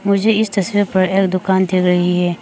मुझे इस तस्वीर पर एक दुकान दिख रही है।